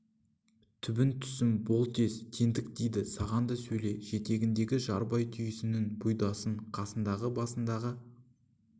түбің түссін бол тез теңдік тиді саған да сөйле жетегіндегі жарбай түйесінің бұйдасын қасындағы басындағы